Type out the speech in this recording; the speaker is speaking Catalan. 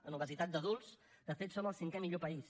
en obesitat d’adults de fet som el cinquè millor país